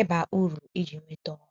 ịba uru iji nweta ọrụ.